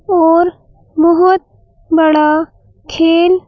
और बहुत बड़ा खेल--